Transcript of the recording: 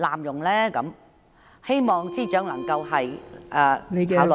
我希望司長能加以考慮。